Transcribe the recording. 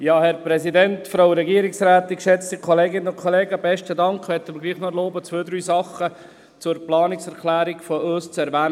Ich möchte mir doch noch erlauben, zwei oder drei Dinge zu unserer Planungserklärung zu erwähnen.